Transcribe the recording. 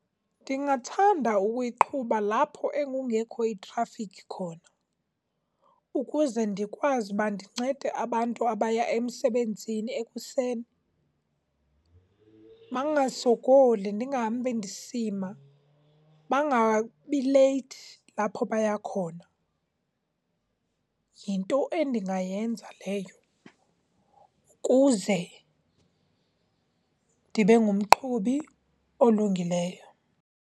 Ndingathanda ukuyiqhuba lapho ekungekho itrafikhi khona ukuze ndikwazi ukuba ndincede abantu abaya emsebenzini ekuseni bangasokoli. Ndingahambi ndisima, bangabi leyithi lapho baya khona. Yinto endingayenza leyo ukuze ndibe ngumqhubi olungileyo.